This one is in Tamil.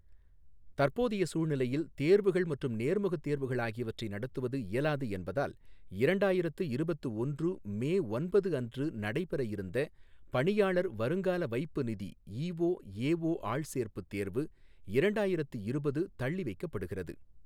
தற்போதைய சூழ்நிலையில் தேர்வுகள் மற்றும் நேர்முகத் தேர்வுகள் ஆகியவற்றை நடத்துவது இயலாது என்பதால், இரண்டாயிரத்து இருபத்து ஒன்று மே ஒன்பது அன்று நடைப்பெறயிருந்த பணியாளர் வருங்கால வைப்பு நிதி ஈஓ ஏஓ ஆள்சேர்ப்பு தேர்வு, இரண்டாயிரத்து இருபது, தள்ளி வைக்கப்படுகிறது.